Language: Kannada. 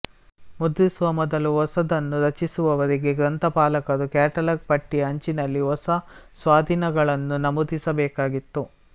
ಮುದ್ರಿಸುವ ಮೊದಲು ಹೊಸದನ್ನು ರಚಿಸುವವರೆಗೆ ಗ್ರಂಥಪಾಲಕರು ಕ್ಯಾಟಲಾಗ್ ಪಟ್ಟಿಯ ಅಂಚಿನಲ್ಲಿ ಹೊಸ ಸ್ವಾಧೀನಗಳನ್ನು ನಮೂದಿಸಬೇಕಾಗಿತ್ತು